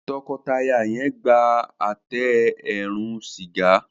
tọkọtaya yen gbà Àtẹ eérún sìgá.